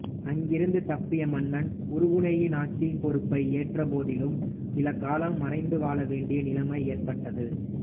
அங்கிருந்து தப்பிய மன்னன் உறுகுணையின் ஆட்சிப் பொறுப்பை ஏற்ற போதிலும் சில காலம் மறைந்து வாழ வேண்டிய நிலைமை ஏற்பட்டது